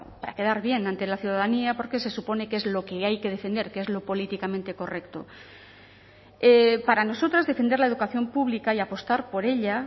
para quedar bien ante la ciudadanía porque se supone que es lo que hay que defender que es lo políticamente correcto para nosotras defender la educación pública y apostar por ella